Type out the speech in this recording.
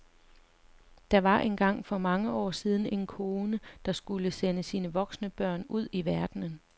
Der var engang for mange år siden en kone, der skulle sende sine voksne børn ud i verden.